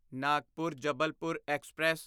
Nagpur Jabalpur express